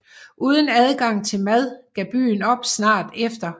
Uden adgang til mad gav byen op snart efter